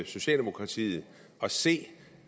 socialdemokratiet at se